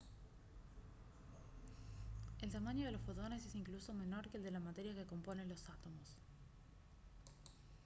¡el tamaño de los fotones es incluso menor que el de la materia que compone los átomos!